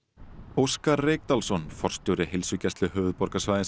Óskar Reykdalsson forstjóri Heilsugæslu höfuðborgarsvæðisins